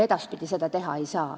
Edaspidi seda teha ei saa.